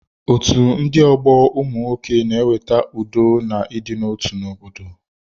Otú ndị ọgbọ ụmụnwoke na-eweta udo na idina otu na obodo